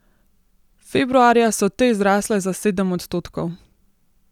Februarja so te zrasle za sedem odstotkov.